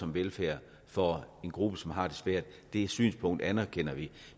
velfærd for en gruppe som har det svært det synspunkt anerkender vi